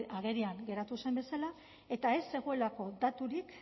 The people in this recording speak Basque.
agerian geratu zen bezala eta ez zegoelako daturik